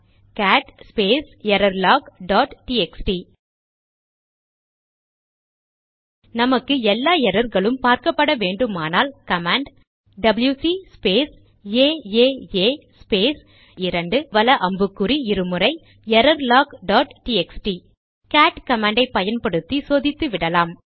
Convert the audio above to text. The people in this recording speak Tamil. gate space error log dot TXT நமக்கு எல்லா எரர்களும் பார்க்கப்பட வேண்டுமானால் command WC space AAA space 2 வல அம்புக்குறி இரு முறை error log dot TXT cat command ஐ பயன்படுத்தி சோதித்துவிடலாம்